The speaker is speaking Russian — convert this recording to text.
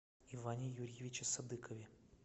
иване юрьевиче садыкове